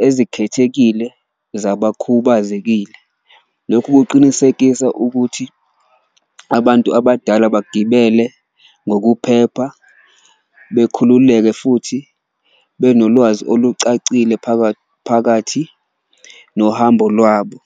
ezikhethekile zabakhubazekile. Lokhu kuqinisekisa ukuthi abantu abadala bagibele ngokuphepha, bekhululeke futhi benolwazi olucacile phakathi nohambo lwabo.